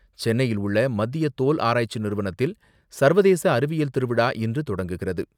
சென்னையில் உள்ள மத்திய தோல் ஆராய்ச்சி நிறுவனத்தில் சர்வதேச அறிவியல் திருவிழா இன்று தொடங்குகிறது.